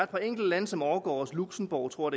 par enkelte lande som overgår os luxembourg tror